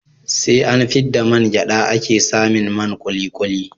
SE an fidda man gyada ake samin man kulikuli